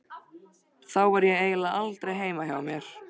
Þá var ég eiginlega aldrei heima hjá mér.